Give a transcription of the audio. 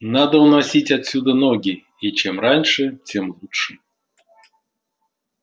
надо уносить отсюда ноги и чем раньше тем лучше